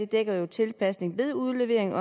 dækker tilpasningen ved udleveringen